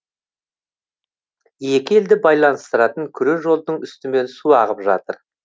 екі елді байланыстыратын күре жолдың үстімен су ағып жатыр